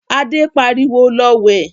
Adé pariwo, 'Lọ wẹ̀'